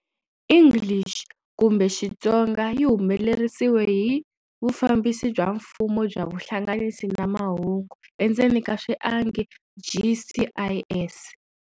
English kumbe Xitsonga Yi humelerisiwile hi- Vufambisi bya mfumo bya Vuhlanganisi na Mahungu endzeni ka swiangi GCIS.